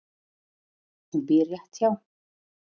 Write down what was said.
Hún býr rétt hjá.